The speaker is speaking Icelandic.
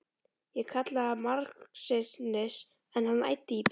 Ég kallaði margsinnis, en hann æddi í burtu.